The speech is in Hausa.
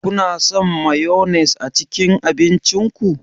Kuna son mayones a cikin abincin ku?